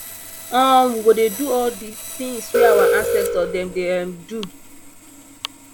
um we go dey do all di tins wey our ancestor dem dey um do